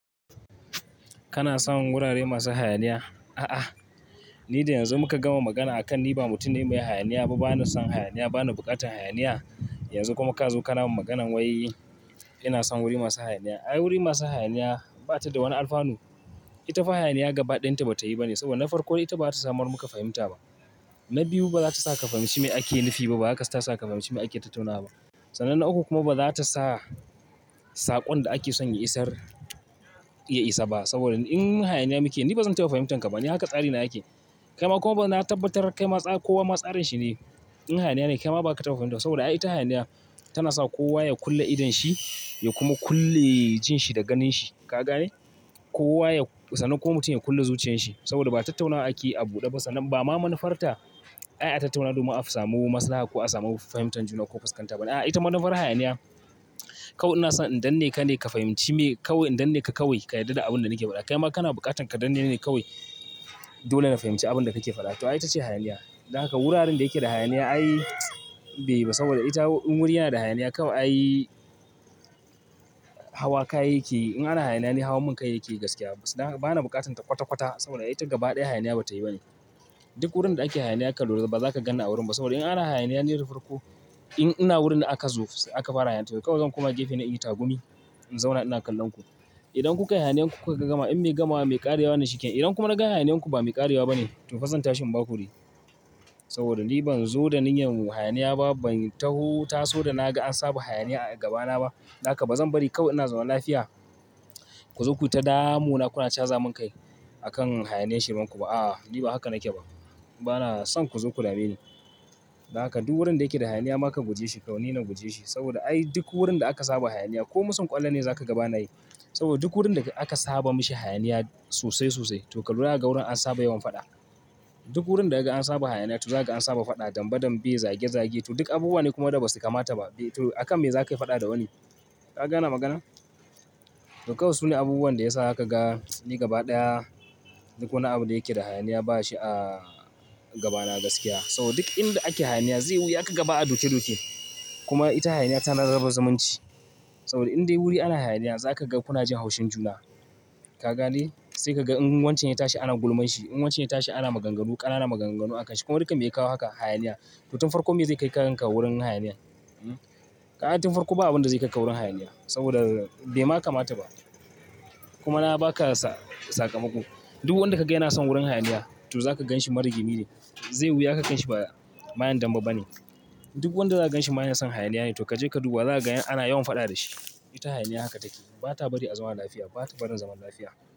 Kana son wurare masu hayaniya? A'ah! Ni da yanzu muka gama magana akan ni ba mutum ne mai son hayaniya ba, bani son hayaniya bani bukatar hayaniya. Yanzu kuma ka zo ka na mu maganan wai ina son wuri masu hayaniya. Ai wuri masu hayaniya ba ta da wani alfanu. Ita fa hayaniya gaba ɗayarta ba ta yi ba ne, saboda na farko ita ba za ta samar muka fahimta ba. Na biyu ba za ta sa ka fahimci me ake nufi ba, ba haka sa ka fahimci me ake tattunawa ba. Sannan na uku kuma ba zata sa, sakon da ake son ya isar ya isa ba saboda in hayaniya muke, ni ba zan taɓa fahimtan ka ba. Ni haka tsari na yake. Kaima kuma ba na tabbatar kai ma tsara, kowa ma tsarin shi ne. In hayaniya ne kai ma ba ka fahimta. Saboda ai ita hayaniya tana sa kowa ya kulle idon shi, ya kuma kulle jin shi da ganin shi. Ka gane? Kowa ya, sananne kowa mutum ya kulle zuciyan shi saboda ba tattunawa ake a buɗe ba. Sananne ba ma manufarta ai tattunawa domin a samu maslaha ko a samu fahimtar juna ko fuskanta ba ne. Ai ita manufar hayaniya, kawai ina son in danne ka ne ka fahimci me, kawai in danne ka kawai ka yarda da abin da nake faɗa. Kaima kana buƙatan ka danne ni ne ka kai. Dole na fahimci abin da kake faɗa to ai ita ce hayaniya. Don haka wuraren da ke da hayaniya ai bai yi ba saboda ita in wuri yana da hayaniya kawai ai hawa kayayyaki, in ana hayaniya ne hawan mun kai yake gaskiya. Bana buƙatan ta kwata-kwata saboda ai ta gaba ɗaya hayaniya ba ta yi ba ne. Duk wurin da ake hayaniya aka loda ba za ka ganni a wurin ba saboda in ana hayaniya ni da farko, in ina wurin aka zo aka fara hayaniya to kawai zan kuma gefe na yi tagumi, in zauna ina kallon ku. Idan kuka yi hayaniyan ku kuka gama, in mai gamawa mai ƙarewa na cike, idan kuma na ga hayaniyan ku ba mai ƙarewa ba ne to fa zan tashi in ba ku wuri. Saboda ni ban zo da niyyar mu hayaniya ba, ban taho taso da na ga an saba hayaniya a gabana ba. Don haka ba zan bari kawai ina zaman lafiya ku zo kuyi ta damu na kuna cha zamun kai akan hayaniyan shiran ku ba. A'a, ni ba haka nake ba. Bana son kuzo ku dame ni don haka duk wurin da yake da hayaniya ma ka guje shi kawai, ni na guje shi saboda ai duk wurin da aka saba hayaniya ko musun ƙwallo ne za ka gaba na yi. Saboda duk wurin da aka saba mishi hayaniya sosai sosai to ka lura ya ga wurin an saba yawan faɗa. Duk wurin da aka an saba hayaniya to za ka gan an saba faɗa dambe dambe zage zage. To duk abubuwa ne kuma da ba su kamata ba. To akan me za ka yi faɗa da wani? Ka gane magana? To kawai sune abubuwan da ya sa ka ga ni gaba ɗaya duk wani abu da yake da hayaniya ba shi a gabana gaskiya. Saboda duk inda ake hayaniya zai wuya ka gaba a doke doke. Kuma ita hayaniya tana raba zamanci saboda indai wuri ana hayaniya za ka ga kunajin haushin juna. Ka gane? Sai ka ga in wancan ya tashi ana gulman shi, in wancan ya tashi ana maganganu ƙanana maganganu akan shi. Kuma duk an maye kawo haka hayaniya. To tun farko me zai kai kakanka wurin hayaniya? Kaga tun farko ba abinda zai kaika wurin hayaniya, saboda bai ma kamata ba kuma na ba ka saƙamako. Duk wanda ka gani yana son wurin hayaniya to za ka gan shi marigimi ne. Zai wuya ka gan shi mayan dambe bane. Duk wanda za ka gan shi maye son hayaniya ne to ka je ka duba za ka ga ana yawan faɗa da shi. Ita hayaniya haka take. Bata bari a zauna lapiya, bata barin zaman lapiya.